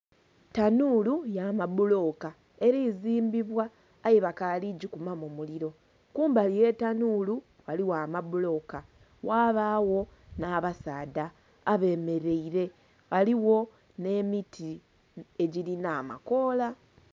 tanuulu ya mabuloka eli zimbibwa, aye bakaali gikumamu mulilo kumali ye tanuulu ghaliyo amabuloka, ghabaagho nha abasaadh abemelaile ghaligho nh'emiti egilinha amakoola.